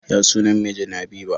Ya sunan mijin habiba?